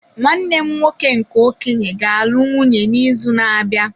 Nwanne m nwoke nke okenye ga-alụ nwunye n’izu na-abịa.